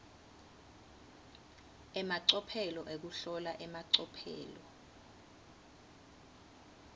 emacophelo ekuhlola emacophelo